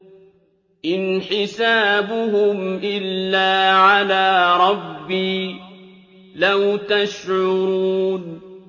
إِنْ حِسَابُهُمْ إِلَّا عَلَىٰ رَبِّي ۖ لَوْ تَشْعُرُونَ